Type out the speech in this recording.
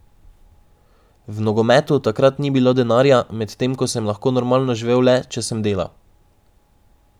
V nogometu takrat ni bilo denarja, medtem ko sem lahko normalno živel le, če sem delal.